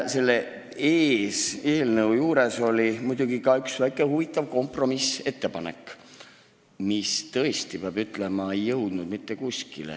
Selle eelnõu puhul käidi välja üks väike huvitav kompromissettepanek, mis, peab ütlema, ei jõudnud mitte kuskile.